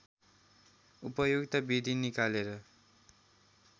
उपयुक्त विधि निकालेर